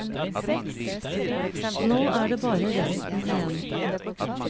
Nå er det bare resten igjen.